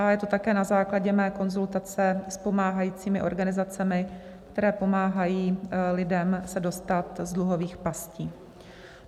A je to také na základě mé konzultace s pomáhajícími organizacemi, které pomáhají lidem se dostat z dluhových pastí.